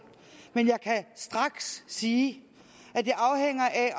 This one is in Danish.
men jeg kan straks sige at det afhænger af